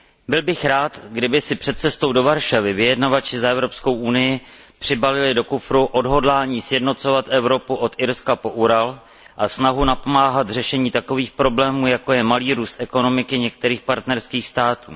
Byl bych rád, kdyby si před cestou do Varšavy vyjednavači za Evropskou unii přibalili do kufru odhodlání sjednocovat Evropu od Irska po Ural a snahu napomáhat řešení takových problémů, jako je malý růst ekonomiky některých partnerských států.